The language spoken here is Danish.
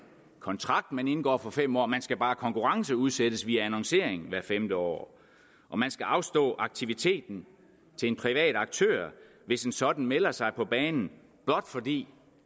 kontrakt man indgår for fem år man skal bare konkurrenceudsætte via annoncering hvert femte år og man skal afstå aktiviteten til en privat aktør hvis en sådan melder sig på banen blot fordi